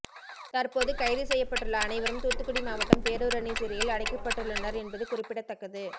தற்போது கைது செய்யப்பட்டுள்ள அனைவரும் தூத்துக்குடி மாவட்டம் பேரூரணி சிறையில் அடைக்கப்பட்டுள்ளனர் என்பது குறிப்பிடத்தக்கது